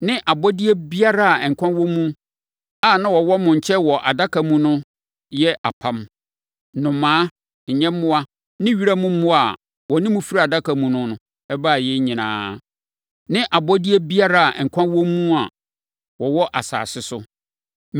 ne abɔdeɛ biara a nkwa wɔ mu a na wɔwɔ mo nkyɛn wɔ adaka no mu yɛ apam: nnomaa, nyɛmmoa ne wiram mmoa a wɔne mo firi adaka no mu no baeɛ nyinaa, ne abɔdeɛ biara a nkwa wɔ mu a wɔwɔ asase so.